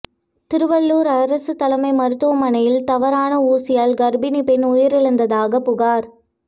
திருவள்ளூர் அரசு தலைமை மருத்துவமனையில் தவறான ஊசியால் கர்ப்பிணி பெண் உயிரிழந்ததாக புகார்